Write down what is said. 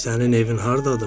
Sənin evin hardadır?